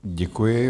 Děkuji.